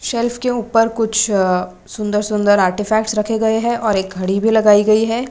Self के ऊपर कुछ सुंदर सुंदर आर्टीफैक्ट्स रखे गए हैं और एक घड़ी भी लगाई गई है।